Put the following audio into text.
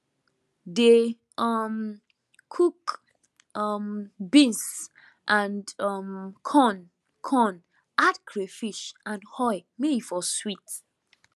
dey um cook um beans and um corn con add crayfish and oil may e for sweet